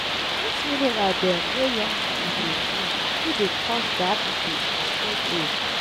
dis mineral dem wey young pipu dey drink fit dey cause diabetes for old age.